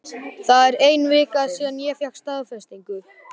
Það er ein vika síðan ég fékk staðfestingu.